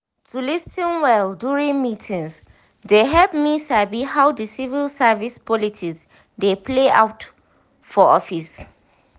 to lis ten well during meetings dey help me sabi how the civil service politics dey play out for office.